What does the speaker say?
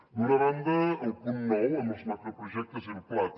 d’una banda el punt nou amb els macroprojectes i el plater